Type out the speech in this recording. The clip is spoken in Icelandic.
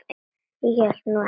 Ég held nú ekki!